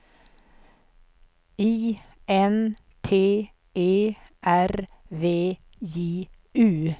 I N T E R V J U